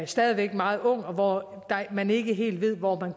stadig væk er meget ung og hvor man ikke helt ved hvor man